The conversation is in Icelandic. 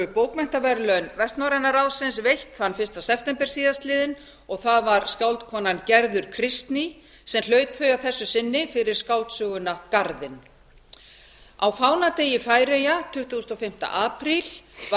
bókmenntaverðlaun vestnorræna ráðsins veitt þann fyrsta september síðastliðinn og það var skáldkonan gerður kristný sem hlaut þau að þessu sinni fyrir skáldsöguna garðinn á fánadegi færeyja tuttugasta og fimmta apríl var